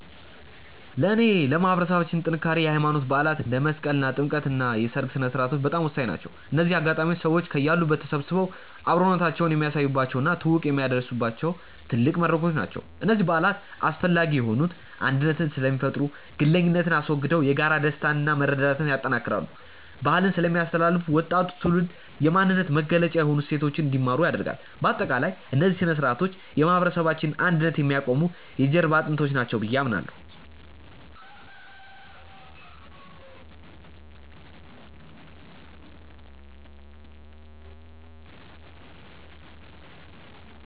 ለእኔ ለማህበረሰባችን ጥንካሬ የሃይማኖት በዓላት (እንደ መስቀልና ጥምቀት) እና የሰርግ ሥነ-ሥርዓቶች በጣም ወሳኝ ናቸው። እነዚህ አጋጣሚዎች ሰዎች ከያሉበት ተሰባስበው አብሮነታቸውን የሚያሳዩባቸው እና ትውውቅ የሚያድሱባቸው ትልቅ መድረኮች ናቸው። እነዚህ በዓላት አስፈላጊ የሆኑት አንድነትን ስለሚፈጥሩ፦ ግለኝነትን አስወግደው የጋራ ደስታንና መረዳዳትን ያጠናክራሉ። ባህልን ስለሚያስተላልፉ፦ ወጣቱ ትውልድ የማንነት መገለጫ የሆኑ እሴቶችን እንዲማር ያደርጋሉ። ባጠቃላይ፣ እነዚህ ሥነ-ሥርዓቶች የማህበረሰባችንን አንድነት የሚያቆሙ የጀርባ አጥንቶች ናቸው ብዬ አምናለሁ።